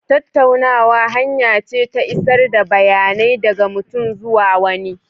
Tattaunawa hanya ce ta isar da bayanai daga mutum zuwa wani.